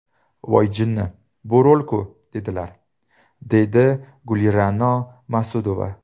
Voy jinni, bu rol-ku, dedilar”, deydi Gulira’no Mas’udova.